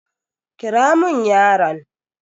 Kira mun yaron.